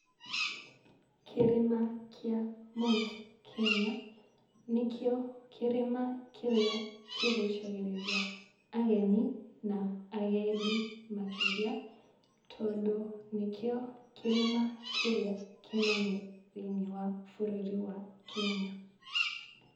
Kĩrĩma kĩa Mt.Kenya, nĩkĩo kĩrĩma kĩrĩa kĩgucagĩrĩria ageni na agendi makĩria, tondũ nĩkĩo kĩrĩma kĩrĩa kĩnene thĩ-inĩ wa bũrũri wa Kenya.